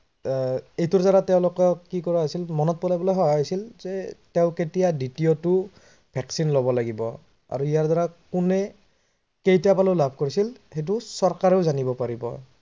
আহ এইটোৰ দ্বাৰা তেওলোকক কি কৰা হৈছিল মনত পেলোৱা হৈছিল যে তেও কেতিয়াদ্বিতীয়টো vaccine লব লাগিব। আৰু ইয়াৰ দ্বাৰা কোনে কেইটা পালি লাভ কৰিছিল চৰকাৰেও জানিব পাৰিব